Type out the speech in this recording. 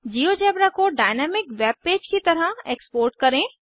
GeoGebra को dynamic webpage की तरह एक्सपोर्ट करें